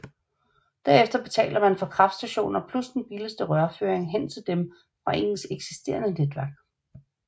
Derefter betaler man for kraftstationer plus den billigste rørføring hen til dem fra ens eksisterende netværk